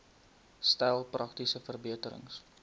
stel praktiese verbeterings